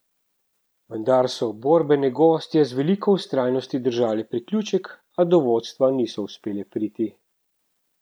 Vendar so borbene gostje z veliko vztrajnosti držale priključek, a do vodstva niso uspele priti.